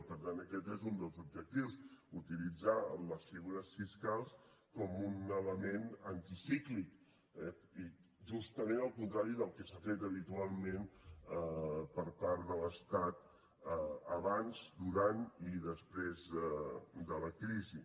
i per tant aquest n’és un dels objectius utilitzar les figures fiscals com un element anticíclic eh i justament al contrari del que s’ha fet habitualment per part de l’estat abans durant i després de la crisi